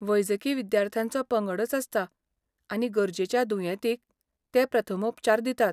वैजकी विद्यार्थ्यांचो पंगडच आसता आनी गरजेच्या दुयेंतींक ते प्रथमोपचार दितात.